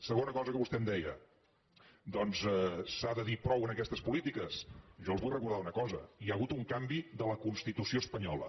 segona cosa que vostè em deia s’ha de dir prou a aquestes polítiques jo els vull recordar una cosa hi ha hagut un canvi de la constitució espanyola